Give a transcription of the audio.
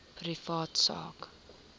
privaat sak